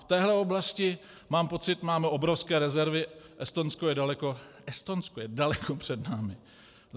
V této oblasti, mám pocit, máme obrovské rezervy, Estonsko je daleko před námi.